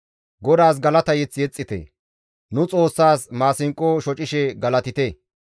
GODAAS galata mazamure yexxite; nu Xoossas maasinqo shocishe galatite.